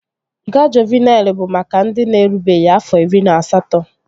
Nga Juuvenịl bụ maka ndị na-erubeghị afọ iri na asatọ